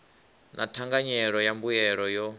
na thanganyelo ya mbuelo yo